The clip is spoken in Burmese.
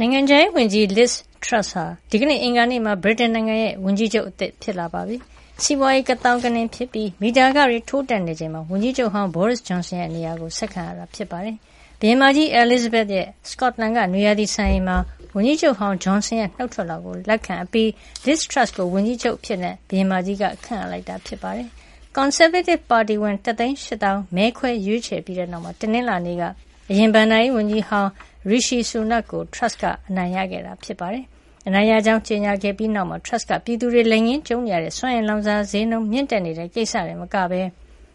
နိုင်ငံခြားရေးဝန်ကြီး Liz Truss ဟာ ဒီကနေ့ အင်္ဂါနေ့မှာ ဗြိတိန်နိုင်ငံရဲ့ဝန်ကြီးချုပ်သစ် ဖြစ်လာပါပြီ။ စီးပွါးရေး ကသောင်းကနင်းဖြစ်ပြီး မီတာခတွေ ထိုးတက်နေချိန်မှာ ဝန်ကြီးချုပ်ဟောင်း Boris Johson ရဲ့နေရာကို ဆက်ခံရတာ ဖြစ်ပါတယ်။ ဘုရင်မကြီး အဲလီဇဘက်ရဲ့ စကော့တလန်ကနွေရာသီစံအိမ်မှာ ဝန်ကြီးချုပ်ဟောင်း Johnson ရဲ့ နုတ်ထွက်လွှာကိုလက်ခံအပြီး Liz Truss ကို ဝန်ကြီးချုပ်အဖြစ် ဘုရင်မကြီးက ခန့်အပ်လိုက်တာ ဖြစ်ပါတယ်။ ကွန်ဆာဗေးတစ်ပါတီဝင် ၁၈၀,၀၀o က မဲခွဲရွေးချယ်ပြီးတဲ့နောက် တနင်္လာနေ့က အရင်ဘဏ္ဍာရေးဝန်ကြီးဟောင်း Rishi Sunak ကို Truss က အနိုင်ရခဲ့တာဖြစ်ပါတယ်။ သူအနိုင်ရကြောင်း ကြေညာခဲ့ပြီးတဲ့နောက်မှာ Truss က ပြည်သူတွေ လက်ငင်းကြုံနေရတဲ့ စွမ်းအင်လောင်စာဈေးနှုန်းမြင့်တက်နေတဲ့ ကိစ္စတင်မကဘဲ